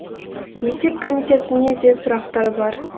есеп комитетіне де сұрақтар бар